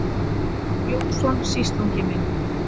Jónsson, sýslungi minn.